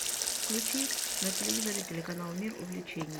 включи на телевизоре канал мир увлечений